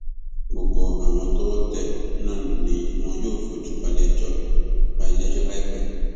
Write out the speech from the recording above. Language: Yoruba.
gbogbo àwọn tọwọ tẹ náà lọ ni wọn yóò fojú ba iléẹjọ ba iléẹjọ láìpẹ